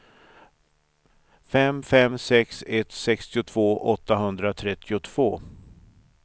fem fem sex ett sextiotvå åttahundratrettiotvå